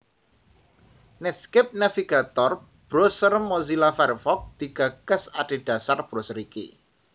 Netscape Navigator browser Mozilla Firefox digagas adhedhasar browser iki